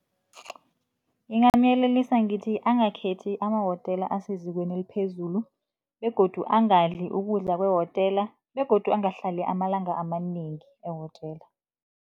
Ngingamuyelelisa ngithi angakhethi emawotela asezingeni eliphezulu begodu angadli ukudla kwewotela begodu angahlali amalanga amanengi ewotela.